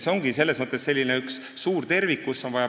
See ongi selles mõttes üks suur tervik.